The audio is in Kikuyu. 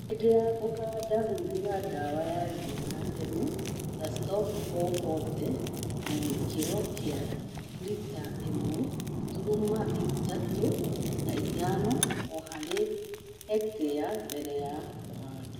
Hĩndĩ ya kũhanda huhĩra dawa ya ria ya tene ta Stomp 440 na gĩkĩro kia lita ĩmwe turuma ithatũ na ithano o harĩ hektĩa mbele ya kũhanda